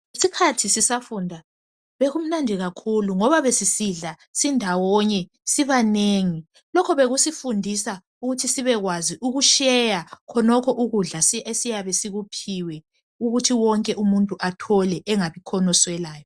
Ngesikhathi sisafunda bekumnandi kakhulu ngoba besisidla sindawonye, sibanengi. Lokho bekusifundisa ukuthi sibekwazi ukusheya khonokho ukudla si esiyabe sikuphiwe ukuthi wonke umuntu athole engabikhona oswelayo.